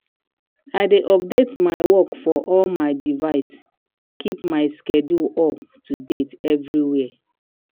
i dey update my work for all my device keep my schedule up to date everywhere.